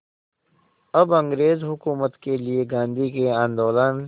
अब अंग्रेज़ हुकूमत के लिए गांधी के आंदोलन